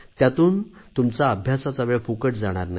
त्यातून तुमचा अभ्यासाचा वेळ फुकट जाणार नाही